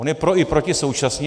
On je pro i proti současně.